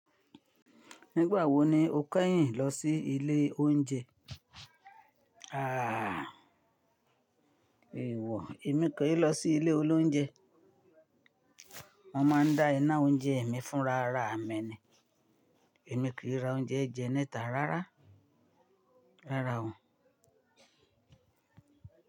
Nígbà wo ni o kẹ́yìn lọ sí ilé oúnjẹ? Ààà, èèwọ̀, èmi kì í lọ sí ilé olóúnjẹ. Wọ́n máa ń dá iná oúnjẹ mi fún rara mi ni Èmi kì í ra oúnjẹ je níta rárá. Rárá o.